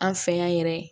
An fɛ yan yɛrɛ